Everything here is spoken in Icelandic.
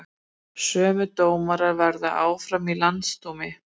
Sömu dómarar verði áfram í landsdómi